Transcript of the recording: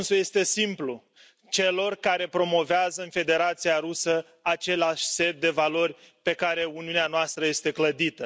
Răspunsul este simplu celor care promovează, în Federația Rusă, același set de valori pe care Uniunea noastră este clădită.